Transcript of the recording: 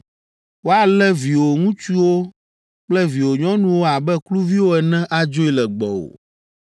Woalé viwò ŋutsuwo kple viwò nyɔnuwo abe kluviwo ene adzoe le gbɔwò.